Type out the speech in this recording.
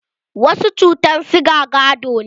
Wasu cutan siga gado ne.